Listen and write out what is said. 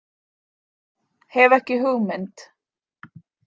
Hef ekki hugmynd.